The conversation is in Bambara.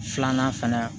Filanan fana